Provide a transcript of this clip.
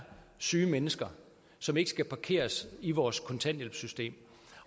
syge mennesker som ikke skal parkeres i vores kontanthjælpssystem